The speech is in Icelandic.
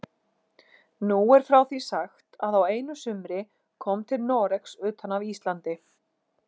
Nú er frá því sagt að á einu sumri kom til Noregs utan af Íslandi